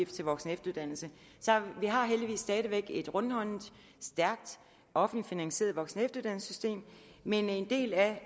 til voksenefteruddannelse så vi har heldigvis stadig væk et rundhåndet stærkt offentligt finansieret voksenefteruddannelsessystem men en del af